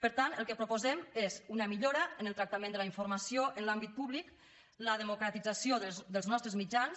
per tant el que proposem és una millora en el tractament de la informació en l’àmbit públic la democratització dels nostres mitjans